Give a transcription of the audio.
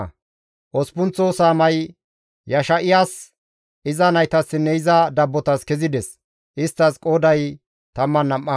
Osppunththo saamay Yesha7iyas, iza naytassinne iza dabbotas kezides; isttas qooday 12.